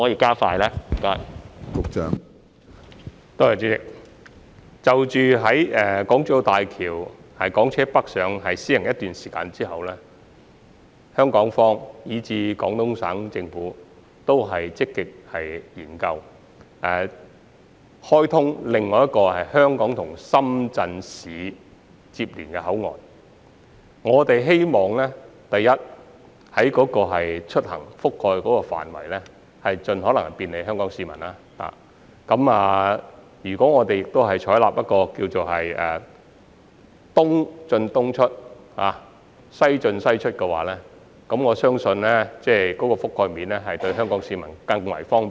主席，在大橋實施港車北上計劃一段時間後，香港及廣東省政府均會積極研究開通另一個接連香港與深圳市的口岸，我們希望所涵蓋的出行範圍盡可能便利香港市民，如果我們採納所謂"東進東出、西進西出"的原則，我相信對於香港市民而言，有關的覆蓋面會更為方便。